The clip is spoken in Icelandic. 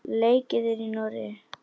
Leikið er í Noregi.